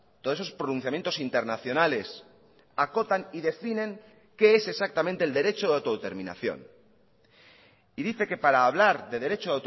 todos esos pronunciamientos internacionales acotan y definen qué es exactamente el derecho de autodeterminación y dice que para hablar de derecho